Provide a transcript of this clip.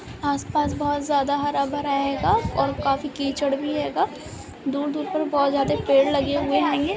आस पास बहुत ज्यादा हरा भरा हेगा और काफी कीचड़ भी हेगा| दूर दूर पर बहुत ज्यादा पेड़ लगे हुए हेगे|